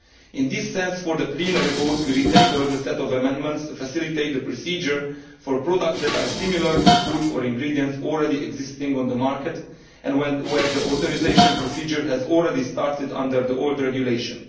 To that end, for the plenary vote we have retabled a set of amendments to facilitate the procedure for products that are similar to foods or ingredients already existing on the market and where the authorisation procedure has already started under the old Regulation.